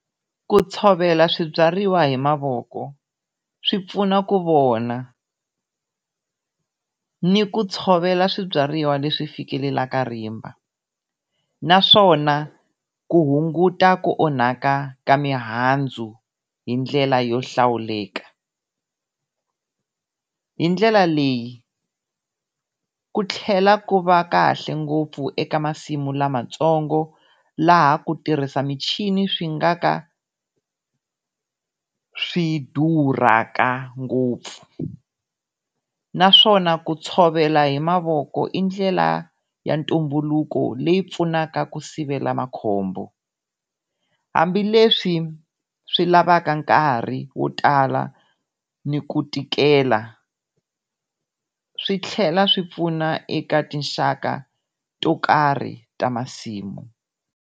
Ku tshovela swibyariwa hi mavoko swi pfuna ku vona, ni ku tshovela swibyariwa leswi fikelelaka rimba naswona ku hunguta ku onhaka ka mihandzu hi ndlela yo hlawuleka hindlela leyi ku tlhela ku va kahle ngopfu eka masimu lamatsongo, laha ku tirhisa michini swi nga ka swi durhaka ngopfu. Naswona ku tshovela hi mavoko i ndlela ya ntumbuluko leyi pfunaka ku sivela makhombo hambileswi swi lavaka nkarhi wo tala ni ku tikela, swi tlhela swi pfuna eka tinxaka to karhi ta masimu.